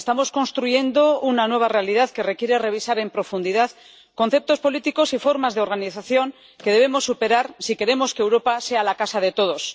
Estamos construyendo una nueva realidad que requiere revisar en profundidad conceptos políticos y formas de organización que debemos superar si queremos que Europa sea la casa de todos.